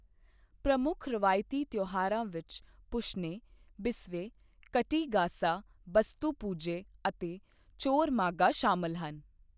ਪ੍ਰਮੁੱਖ ਰਵਾਇਤੀ ਤਿਉਹਾਰਾਂ ਵਿੱਚ ਪੁਸ਼ਨੇ, ਬਿਸਵੇ, ਕਟੀ ਗਾਸਾ, ਬਸਤੂ ਪੁਜੇ ਅਤੇ ਚੋਰ ਮਾਗਾ ਸ਼ਾਮਲ ਹਨ।